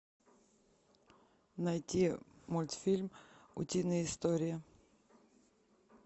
найти мультфильм утиные истории